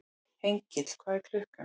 Hergill, hvað er klukkan?